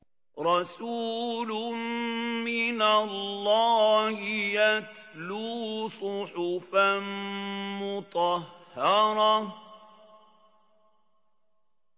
رَسُولٌ مِّنَ اللَّهِ يَتْلُو صُحُفًا مُّطَهَّرَةً